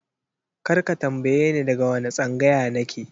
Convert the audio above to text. Kar ka tambaye ni daga wane tsangaya na ke!